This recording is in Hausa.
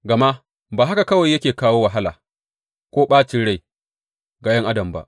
Gama ba haka kawai yake kawo wahala ko ɓacin rai ga ’yan adam ba.